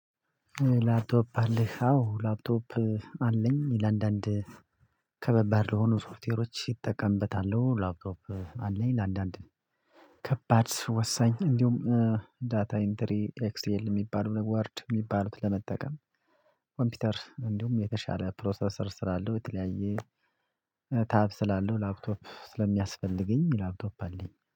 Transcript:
ላፕቶፕ አለህ አዎ ላፕቶፕ አለኝ ለአንዳንድ ከባባድ ለሆኑ ሶፍትዌሮች እጠቀምበታለሁ። ላፕቶፕ አለኝ ለአንዳንድ ከባድ ወሳኝ እንዲሁም ዳታ ኢንተሪ ኤክሴል የሚባሉ ወርድ የሚባሉትን ለመጠቀም ኮምፒውተር እንዲሁም የተሻለ ፕሮሴሰር ስላለው የተለያየ ታብ ስላለው ላፕቶፕ ስለሚያስፈልገኝ ላፕቶፕ አለኝ